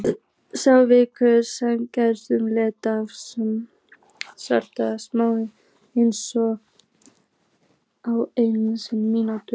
Sá vinnur sem getur étið flestar smákökur á einni mínútu.